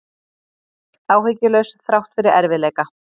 Áhyggjulaus þrátt fyrir erfiðleika